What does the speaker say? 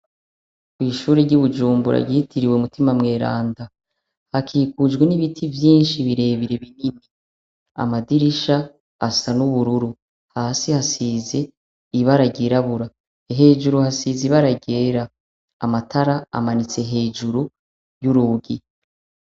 Kw'ishure ry'ibujumbura ryitiriwe umutima mweranda hakikujwe n'ibiti vyinshi birebire binini amadirisha asa n'ubururu hasi hasize ibara ryirabura hejuru hasize ibaragera amatara amanitse hejuru y'urugi.